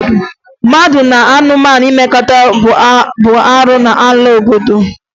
Mmadụ na anụmanụ imekọ bụ arụ n'ala Igbo